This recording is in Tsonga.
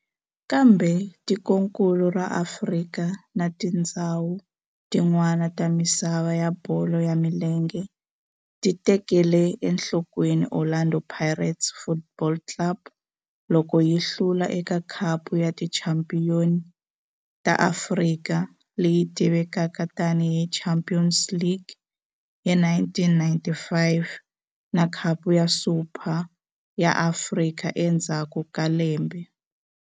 Kambe tikonkulu ra Afrika na tindzhawu tin'wana ta misava ya bolo ya milenge ti tekele enhlokweni Orlando Pirates Football Club loko yi hlula eka Khapu ya Tichampion ta Afrika, leyi tivekaka tani hi Champions League, hi 1995 na Khapu ya Super ya Afrika endzhaku ka lembe.